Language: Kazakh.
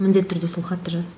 міндетті түрде сол хатты жаз